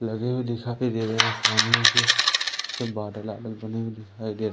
लगी हुई दिखा के दे रहे सामने सब बादल वादल बने हुए दिखाई दे रहे--